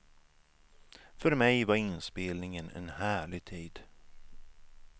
För mig var inspelningen en härlig tid.